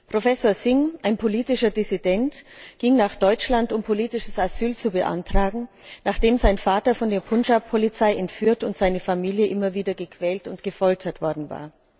Professor Singh, ein politischer Dissident, ging nach Deutschland, um politisches Asyl zu beantragen, nachdem sein Vater von der Punjab Polizei entführt und seine Familie immer wieder gequält und gefoltert worden war.